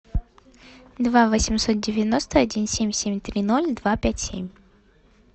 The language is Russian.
два восемьсот девяносто один семь семь три ноль два пять семь